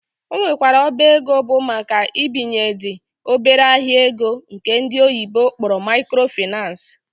Ọ nwekwara ọba ego bụ maka ibinyendị obere ahịa ego nke ndi oyibo kpọrọ microfinace